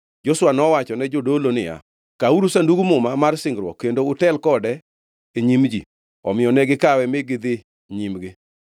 Joshua nowachone jodolo niya, “Kawuru Sandug Muma mar singruok kendo utel kode e nyim ji.” Omiyo ne gikawe mi gidhi nyimgi.